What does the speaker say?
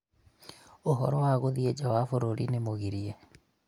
ũhoro wa gũthiĩ ja wa bũrũrĩ nĩ mũgirie